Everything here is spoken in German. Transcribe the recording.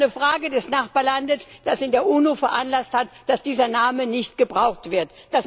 Es ist eine Frage des Nachbarlandes, das in der UNO veranlasst hat, dass dieser Name nicht gebraucht wird.